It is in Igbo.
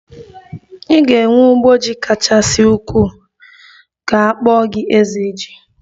Ị ga-enwe ugbo ji kachasị ukwuu ka akpọ gi 'ezeji'